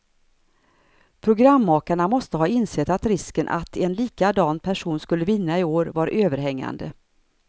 Programmakarna måste ha insett att risken att en likadan person skulle vinna i år var överhängande.